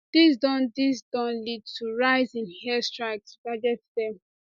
dis don dis don lead to rise in air strikes to target dem